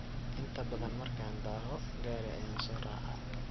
Inta badaan marka daahoo , gari ayan soracaa.